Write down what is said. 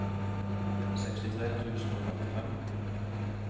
sekstitre tusen og femtifem